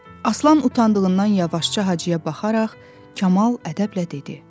Aslan utandığından yavaşca Hacıya baxaraq, Kamal ədəblə dedi: